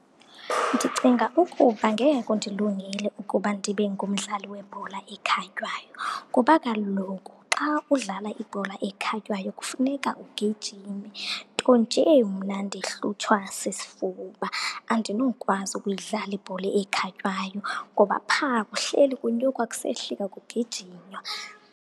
Ndicinga ukuba ngeke kundilungele ukuba ndibe ngumdlali webhola ekhatywayo. Ngoba kaloku xa udlala ibhola ekhatywayo kufuneka ugijime, nto nje mna ndihlutshwa sisifuba. Andinokwazi ukuyidlala ibhola ekhatywayo ngoba pha kuhleli kunyukwa kusehlika kugijinywa.